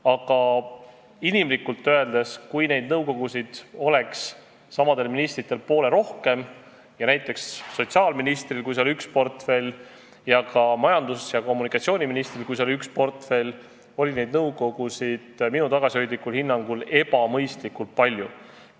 Aga inimlikult öeldes, kui näiteks sotsiaalministril oleks üks suur portfell ja ka majandus- ja kommunikatsiooniministril üks suur portfell, siis oleks neid nõukogusid, kuhu nad kuuluma peaksid, minu tagasihoidlikul hinnangul ebamõistlikult palju.